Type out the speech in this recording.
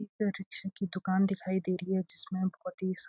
एक रिक्शे की दुकान दिखाई दे रही है जिसमें बहुत ही --